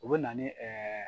U bɛ na ni